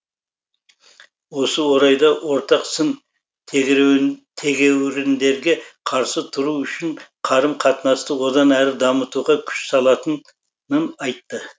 осы орайда ортақ сын тегеуіріндерге қарсы тұру үшін қарым қатынасты одан әрі дамытуға күш салатынын айтты